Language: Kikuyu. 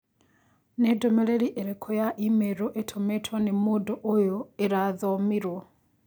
Nĩ ndũmĩrĩri ĩrĩkũ ya i-mīrū ĩtũmĩtwo nĩ mũndũ ũyũ ĩrathomirũo